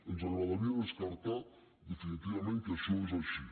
ens agradaria descartar definitivament que això és així